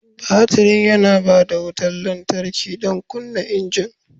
Batirin yana ba da wutar lantarki don kunna injin.